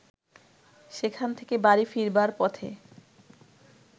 সেখান থেকে বাড়ি ফিরবার পথে